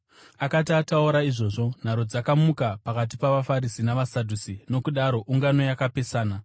Akati ataura izvozvo, nharo dzakamuka pakati pavaFarisi navaSadhusi, nokudaro ungano yakapesana.